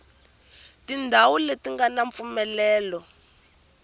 tindhawu leti nga ni mpfumelelo